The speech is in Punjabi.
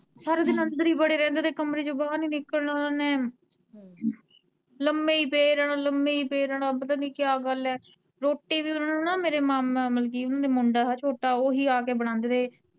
ਸਾਰਾ ਦਿਨ ਅੰਦਰ ਹੀ ਬੜੇ ਰਹਿੰਦੇ ਥੇ, ਕਮਰੇ ਚੋਂ ਬਾਹਰ ਨੀ ਨਿਕਲਣਾ ਓਨਾਂ ਨੇ ਲੰਮੇ ਹੀ ਪਏ ਰਹਿਣਾ, ਲੰਮੇ ਹੀ ਪਏ ਰਹਿਣਾ ਪਤਾ ਨੀ ਕਿਆ ਗੱਲ ਐ, ਰੋਟੀ ਵੀ ਓਨਾਂ ਨੂੰ ਮੇਰੇ ਮਾਮਾ ਮਤਲਬ ਕੀ ਮੁੰਡਾ ਥਾ ਛੋਟਾ ਓਹੀਂ ਆ ਕੇ ਬਣਾਉਂਦੇ ਥੇ।